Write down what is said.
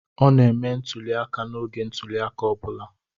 Ọ na-eme ntuli aka n'oge ntuli aka ọ bụla.